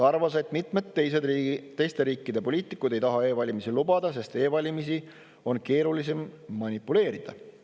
arvas, et mitmed teiste riikide poliitikud ei taha e-valimisi lubada, sest nende valimiste puhul on keerulisem manipuleerida.